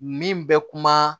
Min bɛ kuma